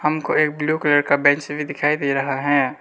हमको एक blue colour का बेंच दिखाई दे रहा है।